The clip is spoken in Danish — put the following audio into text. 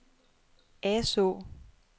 Asaa